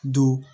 Don